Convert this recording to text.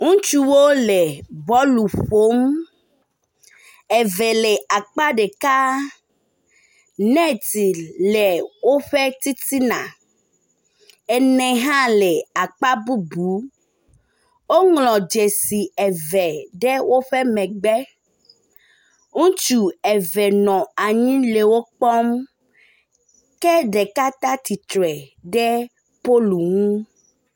ŋutsuwo le bɔlu ƒom eve le akpa ɖeka neti le wóƒe titina ene hã le akpa bubu woŋlɔ dzesi eve ɖe wóƒe megbe ŋutsu eve nɔ anyi le wó kpɔm ke ɖeka tatitre ɖe polunu